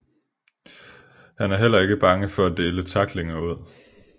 Han er heller ikke bange for at dele tacklinger ud